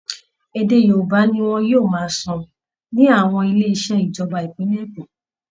Ede Yorùbá ni wọn yóò máa sọ ní àwọn ilé iṣẹ́ ìjọba ìpínlẹ̀ Èkó